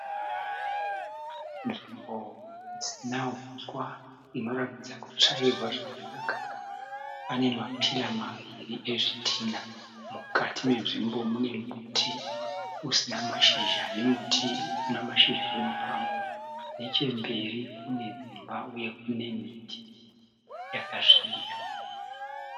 Nzvimbo isina huswa inoratidza kutsvairwa zvakanaka pane ma pira maviri ezvidhinha mukati menzvimbo mune muti usina mashizha nemuti una mashizha wemupani nechemberi kune dzimba uye kune miti yakasvibira.